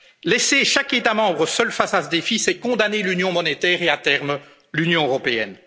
ensemble. Laisser chaque État membre seul face à ce défi, c'est condamner l'Union monétaire et, à terme, l'Union